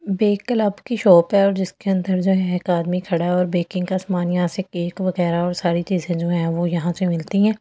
की शॉप है और जिसके अंदर जो है एक आदमी खड़ा है और बेकिंग का सामान यहां से केक वगैरा और सारी चीजे जो है वो यहां से मिलती है ।